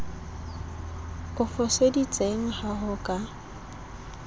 o foseditseng ha ho ka